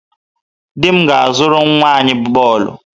Di m ga-azụrụ nwa anyị bọọlụ.